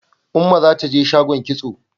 Umma za ta je shagon kitso.